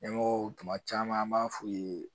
Ɲɛmɔgɔw tuma caman an b'a f'u ye